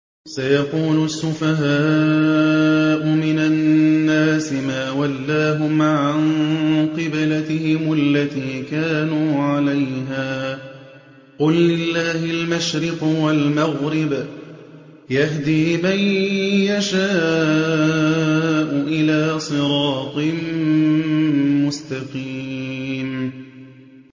۞ سَيَقُولُ السُّفَهَاءُ مِنَ النَّاسِ مَا وَلَّاهُمْ عَن قِبْلَتِهِمُ الَّتِي كَانُوا عَلَيْهَا ۚ قُل لِّلَّهِ الْمَشْرِقُ وَالْمَغْرِبُ ۚ يَهْدِي مَن يَشَاءُ إِلَىٰ صِرَاطٍ مُّسْتَقِيمٍ